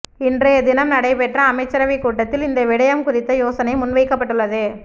இன்றைய தினம் நடைபெற்ற அமைச்சரவைக் கூட்டத்தில் இந்த விடயம் குறித்த யோசனை முன்வைக்கப்பட்டுள்ளது